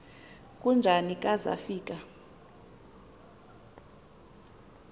kujuni ka zafika